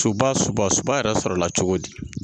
Suba suba suba yɛrɛ sɔrɔla cogo di.